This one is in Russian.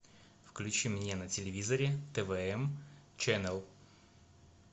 включи мне на телевизоре твм ченел